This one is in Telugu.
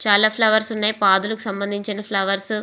చాలా ఫ్లవర్స్ ఉన్నాయ్ పాదులకి సంభందించిన ఫ్లవర్స్ .